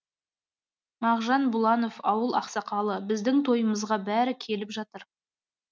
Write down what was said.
мағжан бұланов ауыл ақсақалы біздің тойымызға бәрі келіп жатыр